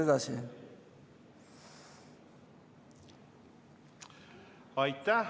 Aitäh!